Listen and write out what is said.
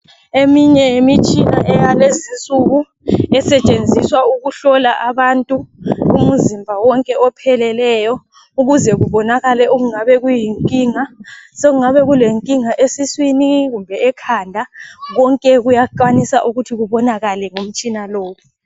Eminye yemitshina ayalezi nsuku esetshenziswa ukuhlola abantu umuzimba wonke opheleleyo. Ukuze kubonakale okungabe kuyinkinga. Sokungabe kulenkinga esiswini kumbe ekhanda konke kuyakwanisa ukuthi kubonakale ngomtshina lowu.